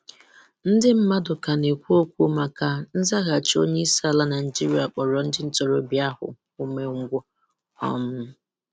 Ndị mmadụ ka na-ekwu okwu maka nzaghachi onye isi ala Naijiria kpọrọ ndị ntorobịa ahụ umengwụ. um